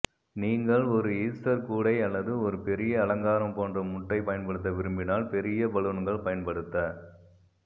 நீங்கள் ஒரு ஈஸ்டர் கூடை அல்லது ஒரு பெரிய அலங்காரம் போன்ற முட்டை பயன்படுத்த விரும்பினால் பெரிய பலூன்கள் பயன்படுத்த